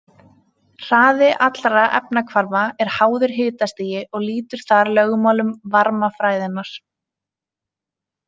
Hraði allra efnahvarfa er háður hitastigi og lýtur þar lögmálum varmafræðinnar.